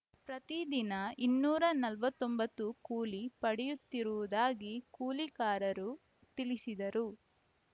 ಪ್ರತಿದಿನ ಇನ್ನೂರ ನಲವತ್ತ್ ಒಂಬತ್ತು ಕೂಲಿ ಪಡೆಯುತ್ತಿರುವುದಾಗಿ ಕೂಲಿಕಾರರು ತಿಳಿಸಿದರು